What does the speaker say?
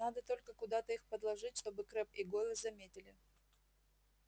надо только куда-то их подложить чтобы крэбб и гойл заметили